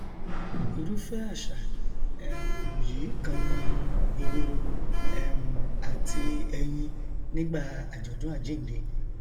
irúfẹ àṣà um yìí kan ni ehoro um àti ẹyin nígbà àjọdún àjínde